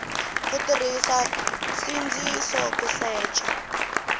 ku tirhisa nsindziso ku secha